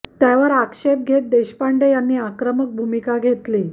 त्यावर आक्षेप घेत देशपांडे यांनी आक्रमक भूमिका घेतली